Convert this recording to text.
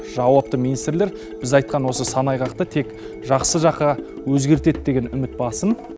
жауапты министрлер біз айтқан осы санайғақты тек жақсы жаққа өзгертеді деген үміт басым